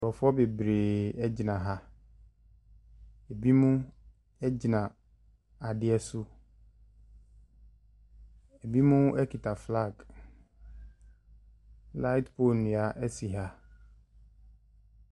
Nkorɔfoɔ bebree ɛgyina ha. Ɛbi mo ɛgyina adeɛ so, ɛbi mo ɛkita flaage. Laet poo nua ɛsi ha.